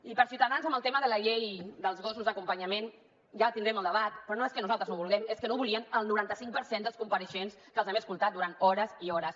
i per a ciutadans amb el tema de la llei dels gossos d’acompanyament ja tindrem el debat però no és que nosaltres no ho vulguem és que no ho volien el noranta cinc per cent dels compareixents que els hem escoltat durant hores i hores